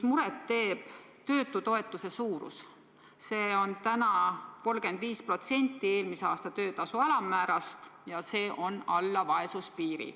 Muret teeb töötutoetuse suurus – see on 35% eelmise töötasu alammäärast ja see on alla vaesuspiiri.